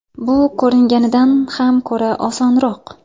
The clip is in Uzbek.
Bu ko‘ringanidan ham ko‘ra osonroq.